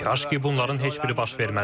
Kaş ki, bunların heç biri baş verməzdi.